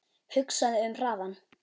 Hugsaðu um hraðann